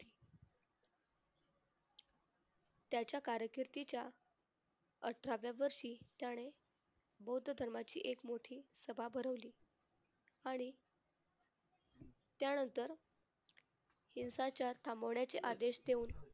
त्याच्या कारकिर्दीच्या अठराव्या वर्षी त्याने बौद्ध धर्माची एक मोठी सभा भरवली. आणि त्यानंतर हिंसाचार थांबवण्याचे आदेश देऊन